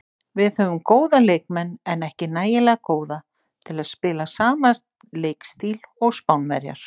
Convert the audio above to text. Við höfum góða leikmenn en ekki nægilega góða til að spila sama leikstíl og Spánverjar.